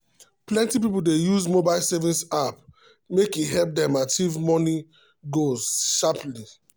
plenty people dey use mobile saving app make e help them achieve money goals steady.